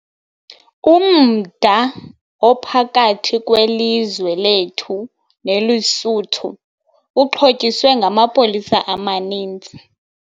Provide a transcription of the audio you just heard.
Umda ophakathi kwelizwe lethu neLesotho uxhotyiswe ngamapolisa amaninzi.